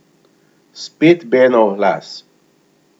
Spet Benov glas.